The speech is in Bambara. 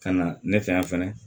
Ka na ne fɛ yan fɛnɛ